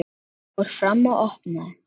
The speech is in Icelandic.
Lilla fór fram og opnaði.